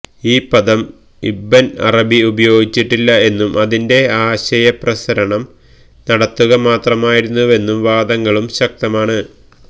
ഈ പദം Ibn Arabi ഉപയോഗിച്ചിട്ടില്ല എന്നും അതിൻറെ ആശയപ്രസരണം നടത്തുക മാത്രമായിരുന്നുവെന്ന വാദങ്ങളും ശക്തമാണ്